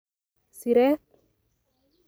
siret.